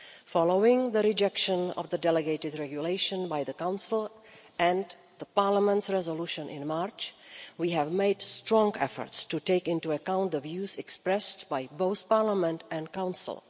Following the rejection of the delegated regulation by the Council, and the Parliament resolution in March, we have made strong efforts to take into account the views expressed by both Parliament and the Council.